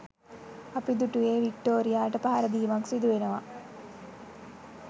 අපි දුටුවේ වික්ටෝරියාට පහරදීමක් සිදුවෙනවා.